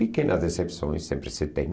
Pequenas decepções sempre se tem.